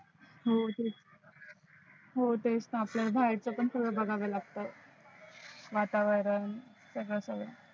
हम्म तेच ना आपल्याला बाहेरच पण थोड बघाव लागत वातावरण सगळ